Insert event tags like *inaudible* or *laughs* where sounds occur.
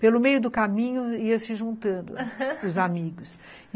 Pelo meio do caminho ia se juntando, *laughs* os amigos.